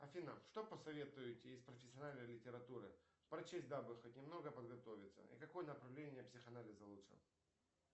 афина что посоветуете из профессиональной литературы прочесть дабы хоть немного подготовиться и какое направление психоанализа лучше